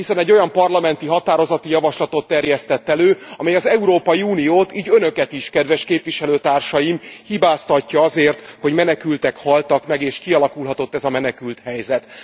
Hiszen egy olyan parlamenti határozati javaslatot terjesztett elő, amely az Európai Uniót így Önöket is kedves képviselőtársaim hibáztatja azért, hogy menekültek haltak meg, és kialakulhatott ez a menekülthelyzet.